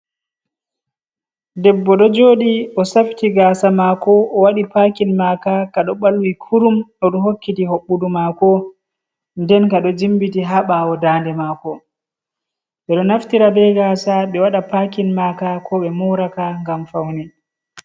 Debbo ɗo jooɗi. O safiti gaasa maako, o waɗi paakin maaka, kaɗo ɓalwi kurum. O ɗo hokkiti hoɓɓudu maako, nden kaɗo jimbiti haa ɓawo daɲde maako. Ɓe ɗo naftira bee gaasa ɓe waɗa paakin maaka ko ɓe mooraka ngam paune.